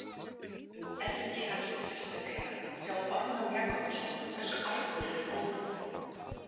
Um „ergi“ hans sérstaklega, sjá Ármann Jakobsson, Hversu argur er Óðinn?